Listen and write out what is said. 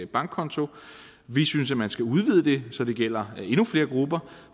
bankkonto vi synes at man skal udvide det så det gælder endnu flere grupper